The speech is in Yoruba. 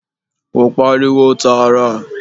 Kò pariwo tààrà.